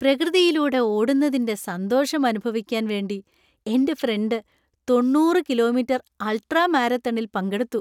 പ്രകൃതിയിലൂടെ ഓടുന്നതിന്‍റെ സന്തോഷം അനുഭവിക്കാൻ വേണ്ടി എന്‍റെ ഫ്രണ്ട് തൊണ്ണൂറ് കിലോമീറ്റർ അൾട്രാ മാരത്തണിൽ പങ്കെടുത്തു.